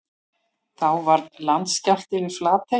Þá varð landskjálfti við Flatey.